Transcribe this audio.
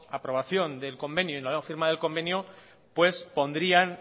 aprobación del convenio y la nueva firma del convenio pondrían